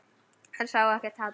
Hann sá ekkert hatur.